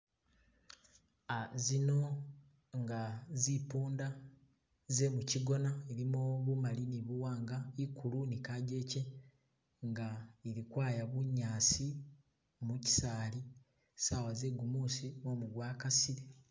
Zino nga zimpunda ze muchigona zilimo bumali ni buwanga ikulu ni kajeche nga zili kwaya bunyasi muchisaali sawa ze gumusi mumu gwakasile.